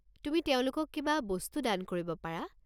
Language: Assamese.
তুমি তেওঁলোকক কিবা বস্তু দান কৰিব পাৰা।